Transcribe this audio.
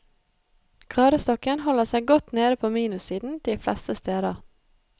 Gradestokken holder seg godt nede på minussiden de fleste steder.